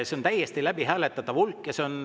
See on täiesti läbihääletatav hulk.